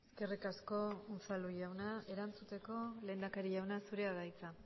eskerrik asko unzalu jauna erantzuteko lehendakari jauna zurea da hitza